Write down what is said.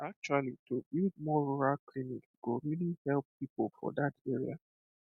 actually to build more rural clinics go really help people for that area